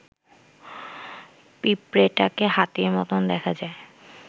পিঁপড়েটাকে হাতির মতন দেখা যায়